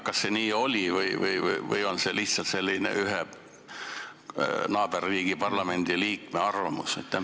Kas see oli nii või on see lihtsalt ühe naaberriigi parlamendiliikme arvamus?